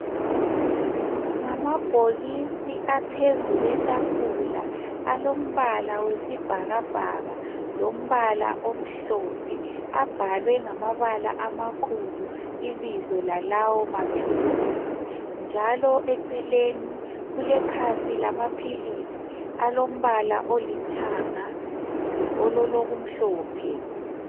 Ngamabhokisi aphezu kwetafula alombala oyisibhakabhaka lombala omhlophe abhalwe ngamabala amakhulu ibizo lalawo maphilisi njalo eceleni kule bhokisis lamaphilisi alombala olithanga olokumhlophe